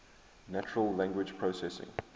natural language processing